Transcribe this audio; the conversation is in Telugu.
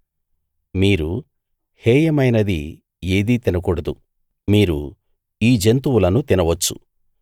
మీరు హేయమైనది ఏదీ తినకూడదు మీరు ఈ జంతువులను తినవచ్చు